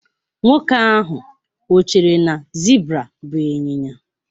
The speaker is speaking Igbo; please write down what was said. Nwoke ahụ o chere na zebra bụ ịnyịnya?